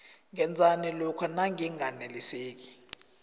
ngenzani lokha nanginganeliseki